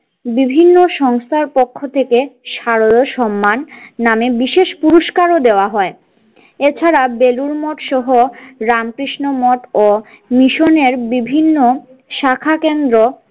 বিভিন্ন সংস্থার পক্ষ থেকে শারদ সম্মান নামে বিশেষ পুরস্কারও দেওয়া হয় এছাড়াও বেলুর মঠ সহ রামকৃষ্ণ মঠ ও মিশনের বিভিন্ন শাখা কেন্দ্র।